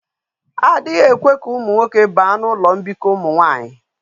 Adighi ekwe ka umu nwoke baa na ulo mbiko umu nwanyi